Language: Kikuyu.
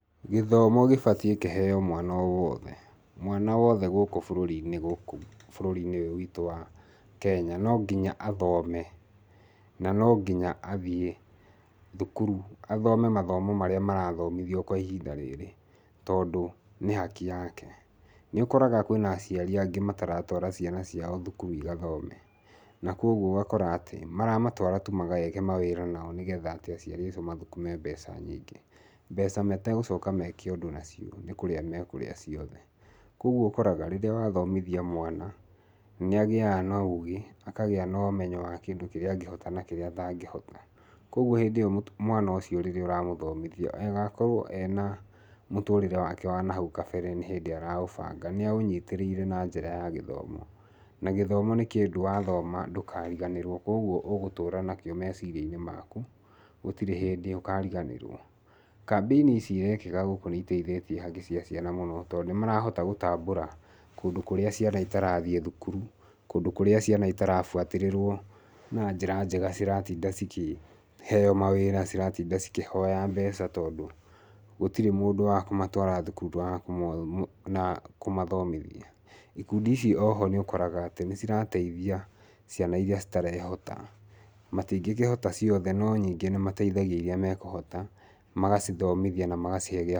Gĩthomo gĩbatiĩ kĩheo mwana o wothe. Mwana wothe gũkũ bũrũri-inĩ, gũkũ bũrũri-inĩ ũyũ witũ wa Kenya no nginya athome, na no nginya athiĩ thukuru athome mathomo marĩa marathomithio kwa ihinda rĩrĩ, tondũ nĩ haki yake. Nĩ ũkoraga kwĩna aciari angĩ mataratwara ciana ciao thukuru igathome. Na koguo ũgakora atĩ maramatũara tu mageke mawĩra nao nĩgetha atĩ aciari acio mathũkũme mbeca nyingĩ. Mbeca mategũcoka meke ũndũ nacio nĩ kũrĩa mekũrĩa ciothe. Koguo ũkoraga rĩrĩa wathomithia mwana nĩ agĩaga na ũũgĩ, akagĩa na ũmenyo wa kĩndũ kĩrĩa angĩhota na kĩrĩa atangĩhota. Koguo hĩndĩ ĩyo mwana ũcio rĩrĩa ũramũthomithia agakorwo ena mũtũrĩre wake wa nahau kabere nĩ hĩndĩ araũbanga. Nĩ aũnyitĩrĩire na njĩra ya gĩthomo. Na gĩthomo nĩ kĩndũ wathoma ndũkariganĩrwo. Koguo ũgũtũra nakĩo meciria-inĩ maku gutirĩ hĩndĩ ũkariganĩrwo. Campaign ici irekĩka gũkũ nĩ iteithĩtie haki cia ciana mũno tondũ nĩ marahota gũtambũra kũndũ kũrĩa ciana itarathiĩ thukuru, kũndũ kũrĩa ciana itarabuatĩrĩrwo na njĩra njega, ciratinda cikĩheo mawĩra, ciratinda cikĩhoya mbeca, tondũ gũtirĩ mũndũ wa kũmatwara thukuru na wa kũmathomithia. Ikundi ici oho nĩ ũkoraga atĩ nĩ cirateithia irĩa citarehota. Matingĩkĩhota ciothe no nyingĩ nĩ mateithagia irĩa mekũhota magacithomithia na magacihe gĩakũrĩa.